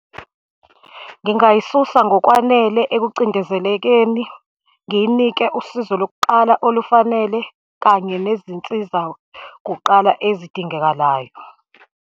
Ngingayisusa ngokwanele ekucindezelekeni, ngiyinike usizo lokuqala olufanele, kanye nezinsiza kuqala ezidingekalayo.